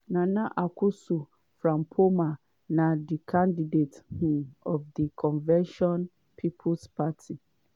nana akosua frimpomaa na di candidate um of di convention people's party.